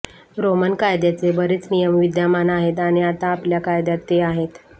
Roman कायद्याचे बरेच नियम विद्यमान आहेत आणि आता आपल्या कायद्यात ते आहेत